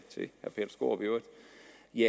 i